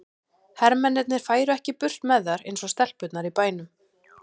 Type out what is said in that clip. Hermennirnir færu ekki burt með þær eins og stelpurnar í bænum.